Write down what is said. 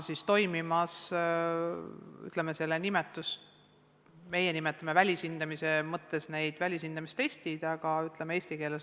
Praegu toimib selline hindamine, mida meie nimetame välishindamistestiks, aga eesti keeles öelduna on see tasemetöö.